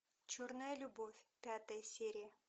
черная любовь пятая серия